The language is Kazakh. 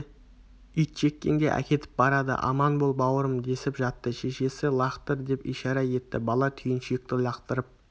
итжеккенге әкетіп барады аман бол бауырым десіп жатты шешесі лақтыр деп ишара етті бала түйіншекті лақтырып